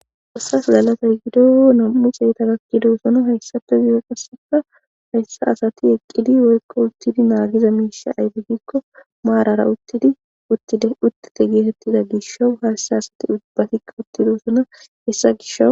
xossas galatay gido nam7uxeeta gakkidoosono hayssafe biye qasseka hayssa asati eqqidi woykko uttidi naagiza miisha ayde gikko maarara uttidi uttite geetettida gishowu hayssa asati ubbatikka uttidoossona hessa gisho.